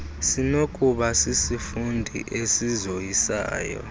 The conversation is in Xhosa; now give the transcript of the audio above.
sinokuba sisifundo esizoyisayo